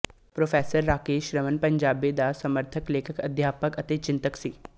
pro Rakesh Raman Punjabi ਦਾ ਸਮਰੱਥ ਲੇਖਕ ਅਧਿਆਪਕ ਅਤੇ ਚਿੰਤਕ ਸੀ